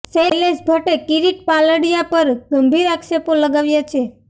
શૈલેષ ભટ્ટે કિરીટ પાલડીયા પર ગંભીર આક્ષેપો લગાવ્યા છે